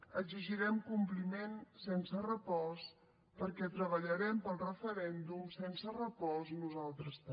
exigirem compliment sense repòs perquè treballarem pel referèndum sense repòs nosaltres també